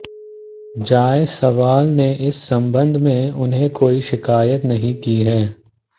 जायसवाल ने इस संबंध में उन्हें कोई शिकायत नहीं की है